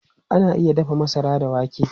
Ana iya dafa masara da wake.